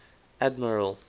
admiral